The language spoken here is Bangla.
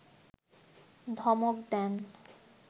ধমক দেন